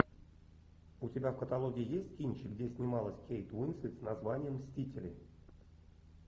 у тебя в каталоге есть кинчик где снималась кейт уинслет с названием мстители